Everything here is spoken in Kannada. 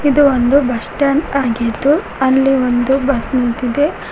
ಇದು ಒಂದು ಬಸ್ ಸ್ಟ್ಯಾಂಡ್ ಆಗಿದ್ದು ಅಲ್ಲಿ ಒಂದು ಬಸ್ ನಿಂತಿದೆ.